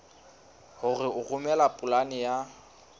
hore o romele polane ya